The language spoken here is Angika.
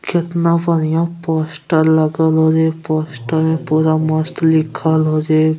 कितना बढ़िया पोस्टर लगल और इ पोस्टर पूरा मस्त लिखल होय जे --